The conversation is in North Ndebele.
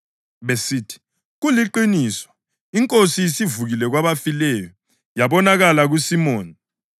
besithi, “Kuliqiniso! INkosi isivukile kwabafileyo yabonakala kuSimoni.”